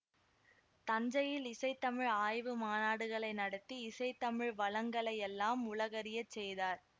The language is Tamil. தஞ்சையில் இசைத்தமிழ் ஆய்வு மாநாடுகளை நடத்தி இசைத்தமிழ் வளங்களையெல்லாம் உலகறியச் செய்தார்